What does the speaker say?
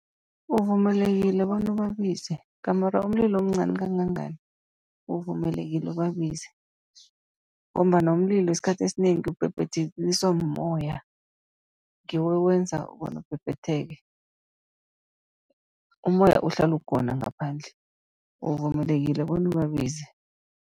Uvumelekile bona ubabize gamare umlilo umncani kangangani, uvumelekile ubabize. Ngombana umlilo isikhathi esinengi ubhebhetheliswa mumoya, ngiwo owenza bona ubhebhetheke. Ummoya uhlala ukhona ngaphandle uvumelekile bona ubabize.